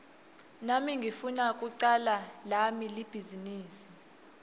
nami ngifuna kucala lami libhizinisi